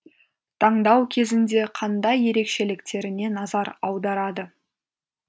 таңдау кезінде қандай ерекшеліктеріне назар аударады